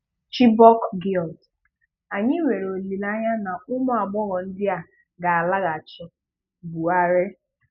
Chibok girls: Anyị nwere olile anya na ụmụ agbọghọ ndị a ga-alaghachi-Buhari